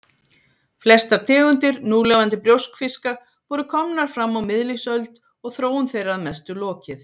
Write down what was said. Flestar tegundir núlifandi brjóskfiska voru komnar fram á miðlífsöld og þróun þeirra að mestu lokið.